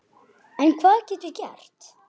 En hvað get ég gert?